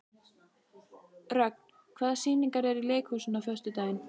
Rögn, hvaða sýningar eru í leikhúsinu á föstudaginn?